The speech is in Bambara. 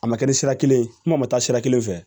A ma kɛ ni sira kelen ye kuma ma taa sira kelen fɛ